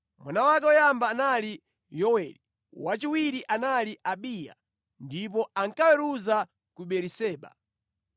Mwana wake woyamba anali Yoweli, wachiwiri anali Abiya, ndipo ankaweruza ku Beeriseba.